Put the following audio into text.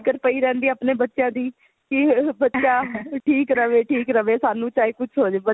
ਪਈ ਰਹਿੰਦੀ ਆ ਆਪਣੇ ਬੱਚਿਆਂ ਦੀ ਕੀ ਬੱਚਾ ਠੀਕ ਰਵੇ ਠੀਕ ਰਵੇ ਸਾਨੂੰ ਚਾਹੇ ਕੁੱਝ ਹੋਜੇ